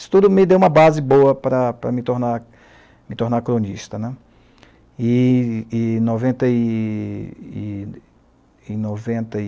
Isso tudo me deu uma base boa para para me tornar me tornar cronista, né. E e noventa e e e noventa e